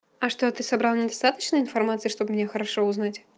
а что ты собрал не достаточно информации чтобы меня хорошо узнать